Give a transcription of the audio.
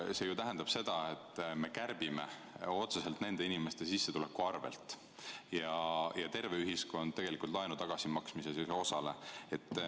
See tähendab ju seda, et me kärbime eelarvet otseselt nende inimeste sissetuleku arvel ja ülejäänud ühiskond laenu tagasimaksmises ei osale.